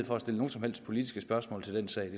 for at stille nogen som helst politiske spørgsmål til den sag